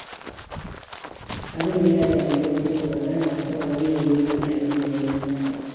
Abun ya dame ni, saboda ba na son wani ya yi min abin da na yi masa